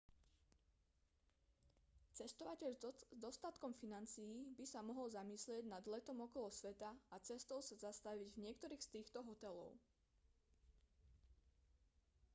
cestovateľ s dostatkom financií by sa mohol zamyslieť nad letom okolo sveta a cestou sa zastaviť v niektorých z týchto hotelov